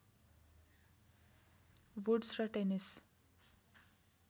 woods र tennis